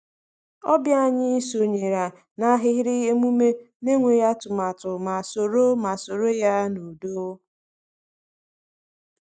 Ọbịa anyị sonyere n’ahịrị emume n’enweghị atụmatụ ma soro ma soro ya n’udo.